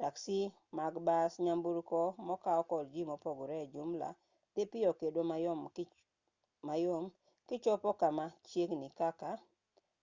taksi mag bas nyamburko mokaw kod ji mopogre e jumla dhi piyo kendo mayom kichopo kama chiegni kaka